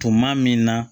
Tuma min na